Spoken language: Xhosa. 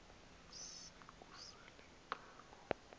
se kusel ixheg